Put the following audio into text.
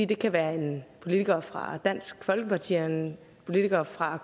det kan være en politiker fra dansk folkeparti og en politiker fra